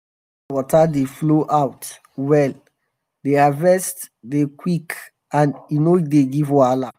wen d pond water dey flow out well d harvest dey quick and e no dey give wahala.